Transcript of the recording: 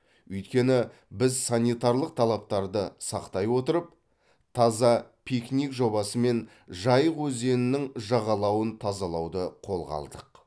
өйткені біз санитралық талаптарды сақтай отырып таза пикник жобасымен жайық өзенінің жағалауын тазалауды қолға алдық